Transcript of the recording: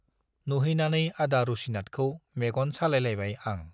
नुहैनानै आदा रुसिनाथखौ मेगन सालायलायबाय आं।